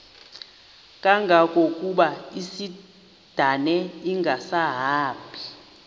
kangangokuba isindane ingasahambi